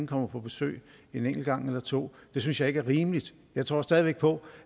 kommer på besøg en enkelt gang eller to det synes jeg ikke er rimeligt jeg tror stadig væk på